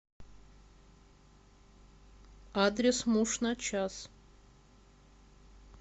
адрес муж на час